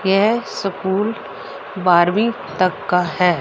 यह स्कूल बारवीं तक का है।